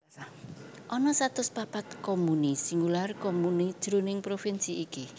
Ana satus papat comuni singular comune jroning provinsi iki